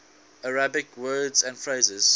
arabic words and phrases